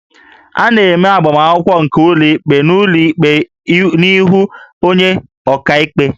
A na-eme agbaakwụkwọ nke ụlọikpe n'ụlọikpe n'ihu onye ọkaikpe